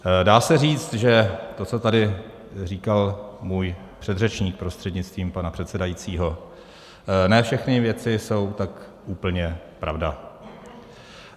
Dá se říct, že to, co tady říkal můj předřečník prostřednictvím pana předsedajícího, ne všechny věci jsou tak úplně pravda.